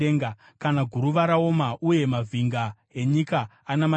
kana guruva raoma, uye mavhinga enyika anamatirana?